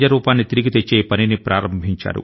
నది కి సహజ రూపాన్ని తెచ్చారు